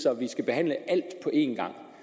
at vi skal behandle alt på én gang